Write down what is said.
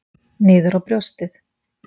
Niður á brjóstið.